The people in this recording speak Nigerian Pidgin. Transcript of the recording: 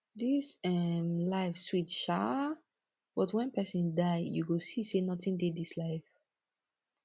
dis um life sweet shaa but wen pesin die you go see sey notin dey dis life